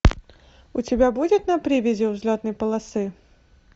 у тебя будет на привязи у взлетной полосы